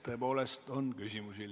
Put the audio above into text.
Tõepoolest on küsimusi.